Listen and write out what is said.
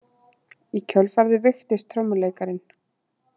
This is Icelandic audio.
Í kjölfarið veiktist trommuleikarinn